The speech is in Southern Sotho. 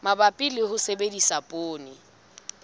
mabapi le ho sebedisa poone